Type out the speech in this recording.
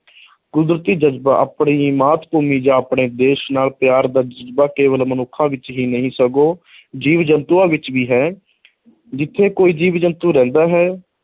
ਕੁਦਰਤੀ ਜਜ਼ਬਾ ਆਪਣੀ ਮਾਤ ਭੂਮੀ ਜਾਂ ਆਪਣੇ ਦੇਸ਼ ਨਾਲ ਪਿਆਰ ਦਾ ਜਜ਼ਬਾ ਕੇਵਲ ਮਨੁੱਖਾਂ ਵਿੱਚ ਹੀ ਨਹੀਂ ਸਗੋਂ ਜੀਵ-ਜੰਤੂਆਂ ਵਿੱਚ ਵੀ ਹੈ ਜਿੱਥੇ ਕੋਈ ਜੀਵ-ਜੰਤੂ ਰਹਿੰਦਾ ਹੈ,